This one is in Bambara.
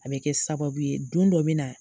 A be kɛ sababu ye don dɔ be na